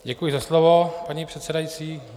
Děkuji za slovo, paní předsedající.